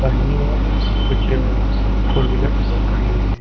दाहिनी ओर कुछ फोर व्हीलर्स खड़ी हुई है।